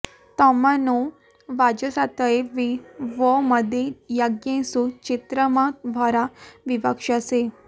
तमा नो वाजसातये वि वो मदे यज्ञेषु चित्रमा भरा विवक्षसे